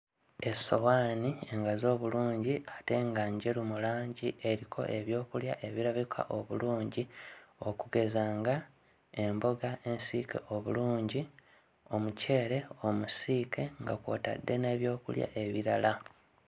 Essowaani engazi obulungi ate nga njeru mu langi eriko ebyokulya ebirabika obulungi okugeza nga emboga ensiike obulungi, omuceere omusiike nga kw'otadde n'ebyokulya ebirala.